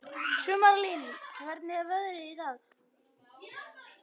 Sumarlín, hvernig er veðrið í dag?